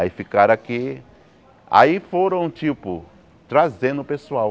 Aí ficaram aqui, aí foram tipo, trazendo o pessoal.